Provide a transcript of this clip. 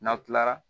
N'aw kilara